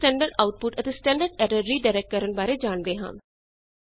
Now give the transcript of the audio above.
ਆਓ ਹੁਣ standard output ਅਤੇ ਸਟੈਂਡਰਡ ਐਰਰ ਰੀ ਡਾਇਰੈਕਟ ਕਰਨ ਬਾਰੇ ਜਾਣਦੇ ਹਾਂ